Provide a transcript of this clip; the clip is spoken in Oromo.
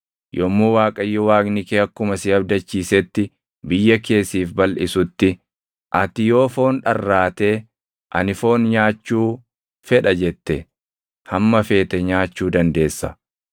Yommuu Waaqayyo Waaqni kee akkuma si abdachiisetti biyya kee siif balʼisutti, ati yoo foon dharraatee, “Ani foon nyaachuu fedha” jette, hamma feete nyaachuu dandeessa.